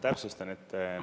Täpsustan.